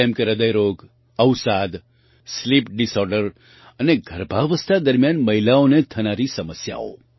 જેમ કે હૃદય રોગ અવસાદ સ્લીપ ડિસઑર્ડર અને ગર્ભાવસ્થા દરમિયાન મહિલાઓને થનારી સમસ્યાઓ